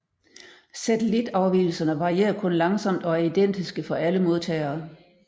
Satellitafvigelserne varierer kun langsomt og er identiske for alle modtagere